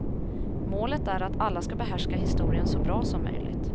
Målet är att alla ska behärska historien så bra som möjligt.